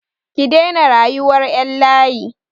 Ki daina rayuwar ƴan layi!